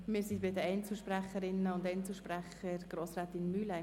Wir sind bei den Einzelsprecherinnen und Einzelsprechern angelangt.